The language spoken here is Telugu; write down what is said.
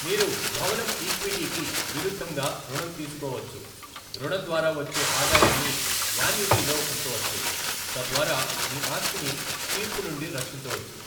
మీరు భవనం ఈక్విటీకి విరుద్ధంగా రుణం తీసుకోవచ్చు, రుణం ద్వారా వచ్చే ఆదాయాన్ని యాన్యుటీలో ఉంచవచ్చు, తద్వారా మీ ఆస్తిని తీర్పు నుండి రక్షించవచ్చు.